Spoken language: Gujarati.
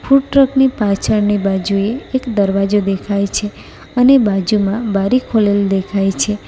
ફૂડ ટ્રકની પાછળની બાજુએ એક દરવાજો દેખાય છે અને બાજુમાં બારી ખુલેલ દેખાય છે.